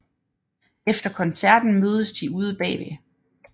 Efter koncerten mødes de ude bagved